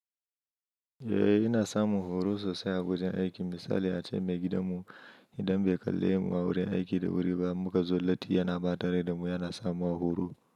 Eh ina samun horo sosai a wajen aiki. Misali a ce maigidanmu idan bai kalle mu a wurin aiki da wuri ba muka zo latti yana ɓata rai da mu yana samu a horo.